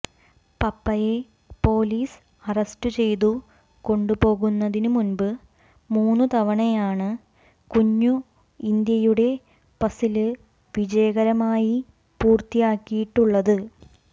പപ്പയെ police arrest ചെയ്തു കൊണ്ടുപോകുന്നതിനു മുന്പ് മൂന്നുതവണയാണ് കുഞ്ഞു ഇന്ത്യയുടെ പസില് വിജയകരമായി പൂര്ത്തിയാക്കിയിട്ടുള്ളത്